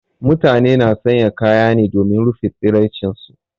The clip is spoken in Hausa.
Mutane na sanya kaya ne domin rufe tsiraicin su.